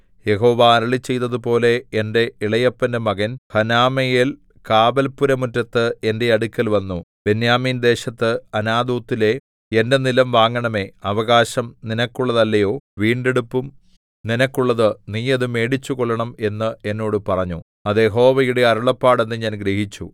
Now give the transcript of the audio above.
യഹോവ അരുളിച്ചെയ്തതുപോലെ എന്റെ ഇളയപ്പന്റെ മകൻ ഹനമെയേൽ കാവല്പുരമുറ്റത്ത് എന്റെ അടുക്കൽ വന്നു ബെന്യാമീൻദേശത്ത് അനാഥോത്തിലെ എന്റെ നിലം വാങ്ങണമേ അവകാശം നിനക്കുള്ളതല്ലയോ വീണ്ടെടുപ്പും നിനക്കുള്ളത് നീ അത് മേടിച്ചുകൊള്ളണം എന്ന് എന്നോട് പറഞ്ഞു അത് യഹോവയുടെ അരുളപ്പാട് എന്ന് ഞാൻ ഗ്രഹിച്ചു